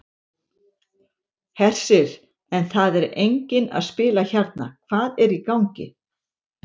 Hersir: En það er enginn að spila hérna, hvað er í gangi?